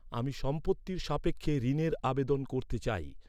আমি সম্পত্তির সাপেক্ষে ঋণের আবেদন করতে চাই।